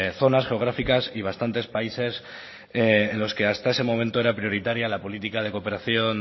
zonas geográficas y bastantes países en los que hasta ese momento era prioritaria la política de cooperación